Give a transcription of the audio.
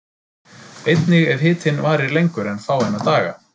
Einnig ef hitinn varir lengur en fáeina daga.